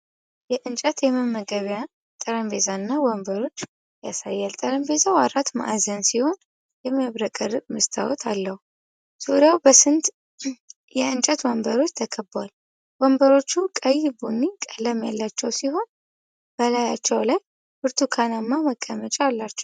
የእንጨት የመመገቢያ ጠረጴዛና ወንበሮችን ያሳያል። ጠረጴዛው አራት ማዕዘን ሲሆን የሚያብረቀርቅ መስታወት አለው። ዙሪያው በስምንት የእንጨት ወንበሮች ተከቧል። ወንበሮቹ ቀይ ቡኒ ቀለም ያላቸው ሲሆኑ በላያቸው ላይ ብርቱካናማ መቀመጫ አላቸው።